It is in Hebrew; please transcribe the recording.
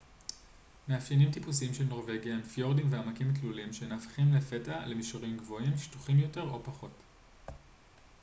מאפיינים טיפוסיים של נורווגיה הם פיורדים ועמקים תלולים שנהפכים לפתע למישורים גבוהים שטוחים יותר או פחות